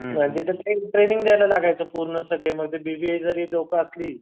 एक ट्रेनिंग द्यायला लागायचं पूर्ण सगळे मग ते बीबीए जरी लोकं असली